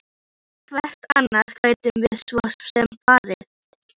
Hvert annað gætum við svo sem farið?